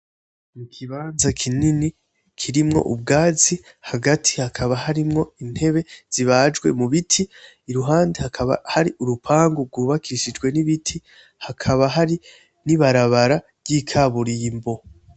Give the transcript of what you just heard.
Ikibanza kinini kirimwo ubwatsi hagati hakaba harimwo intebe zibaje mubiti iruhande hakaba hari urupangu gubakishijwe n'ibiti hakaba hari n'ibarabara ry'ikaburimbo